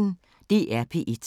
DR P1